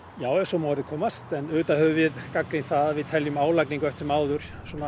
já ef svo má að orði komast en auðvitað höfum við gagnrýnt það að við teljum álagningu eftir sem áður